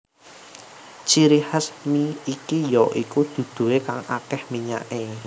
Ciri khas mi iki ya iku duduhe kang akeh minyake